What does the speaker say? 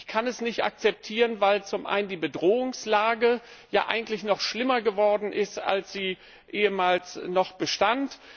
Ich kann es nicht akzeptieren, weil zum einen die Bedrohungslage eigentlich noch schlimmer geworden ist, als sie ehemals noch bestand.